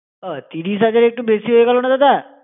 ও তিরিশ হাজার একটু বেশি হয়ে গেল না দাদা?